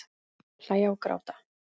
Hlæja og gráta.